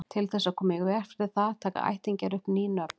Til þess að koma í veg fyrir það taka ættingjarnir upp ný nöfn.